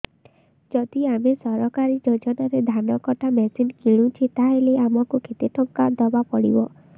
ଯଦି ଆମେ ସରକାରୀ ଯୋଜନାରେ ଧାନ କଟା ମେସିନ୍ କିଣୁଛେ ତାହାଲେ ଆମକୁ କେତେ ଟଙ୍କା ଦବାପାଇଁ ପଡିବ